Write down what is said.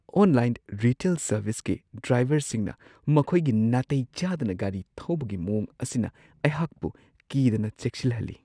Online retail ꯁꯔꯚꯤꯁꯀꯤ ꯗ꯭ꯔꯥꯏꯚꯔꯁꯤꯡꯅ ꯃꯈꯣꯏꯒꯤ ꯅꯥꯇꯩ ꯆꯥꯗꯅ ꯒꯥꯔꯤ ꯊꯧꯕꯒꯤ ꯃꯋꯣꯡ ꯑꯁꯤꯅ ꯑꯩꯍꯥꯛꯄꯨ ꯀꯤꯗꯅ ꯆꯦꯛꯁꯤꯜꯍꯜꯂꯤ ꯫